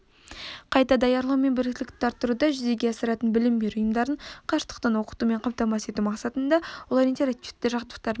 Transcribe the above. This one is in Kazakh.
қайта даярлау мен біліктілікті арттыруды жүзеге асыратын білім беру ұйымдарын қашықтықтан оқытумен қамтамасыз ету мақсатында олар интерактивті жабдықтармен